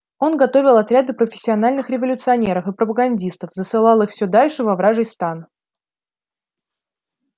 он готовил отряды профессиональных революционеров и пропагандистов засылал их всё дальше во вражий стан